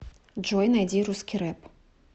джой найди русский рэп